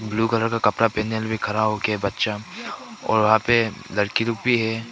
Blue colour का कपड़ा पहने हुए खड़ा हो के बच्चा और वहां पे लड़की लोग भी है।